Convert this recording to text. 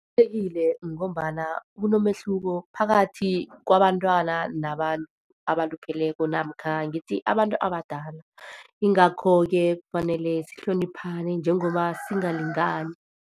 ngombana kunomehluko phakathi kwabantwana nabantu abalupheleko, namkha ngithi abantu abadala. Yingakho-ke kufanele sihloniphane njengoba singalingani.